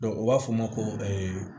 u b'a fɔ o ma ko